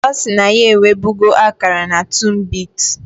Osi na ya ewebugo akara na tunbit